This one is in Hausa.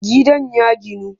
Gidan ya ginu